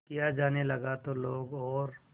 किया जाने लगा तो लोग और